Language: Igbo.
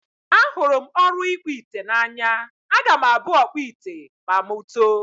Ahụrụ m ọrụ ịkpụ ite n'anya. Aga m abụ ọkpụ ite ma mụ too.